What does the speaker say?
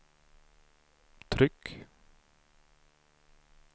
tryck